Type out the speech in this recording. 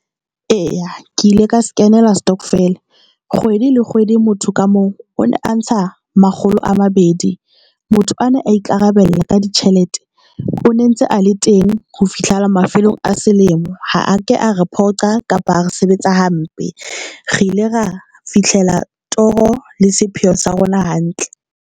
Eya, ke ile ka se kenela Stockvele kgwedi le kgwedi. Motho ka moo o ne antsha makgolo a mabedi motho ana a ikarabella ka ditjhelete. O ne entse a le teng ho fihlela mafelong a selemo. Ha ke a re phoqa kapa a re sebetsa hampe, re ile ra fihlela toro le sepheo sa rona hantle.